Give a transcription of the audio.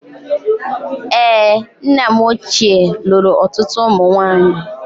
Èé, nna m ochie lụrụ ọtụtụ ụmụ nwaanyị.